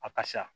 A ka sa